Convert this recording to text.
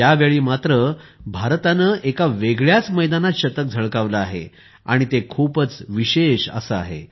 यावेळी मात्र भारताने एका वेगळ्याच मैदानात शतक झळकावले आहे आणि ते खूपच विशेष असे आहे